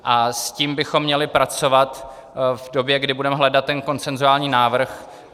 A s tím bychom měli pracovat v době, kdy budeme hledat ten konsenzuální návrh.